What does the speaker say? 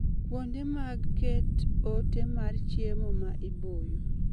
Kuonde mag ket ote mar chiemo ma iboyo